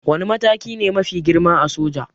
Wane mataki ne mafi girma a soja?